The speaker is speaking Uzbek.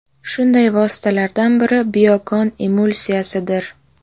Shunday vositalardan biri Biokon Emulsiyasi dir .